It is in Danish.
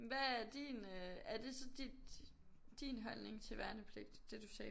Hvad er din øh er det så dit din holdning til værnepligt det du sagde